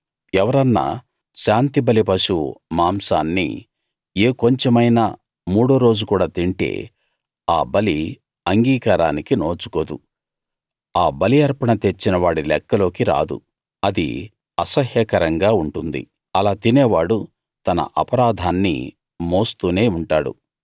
ఎవరన్నా శాంతిబలి పశువు మాంసాన్ని ఏ కొంచెమైనా మూడోరోజు కూడా తింటే ఆ బలి అంగీకారానికి నోచుకోదు ఆ బలి అర్పణ తెచ్చిన వాడి లెక్కలోకి రాదు అది అసహ్యకరంగా ఉంటుంది అలా తినేవాడు తన అపరాధాన్ని మోస్తూనే ఉంటాడు